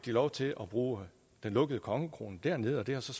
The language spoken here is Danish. lov til at bruge den lukkede kongekrone dernede og det har så